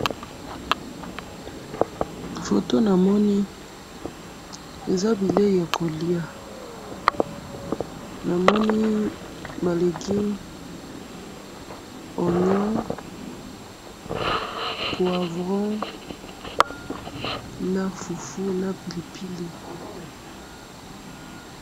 Photo namoni eza bileyi ya ko lia, namoni ba legume, ognion, poivron na fufu na pili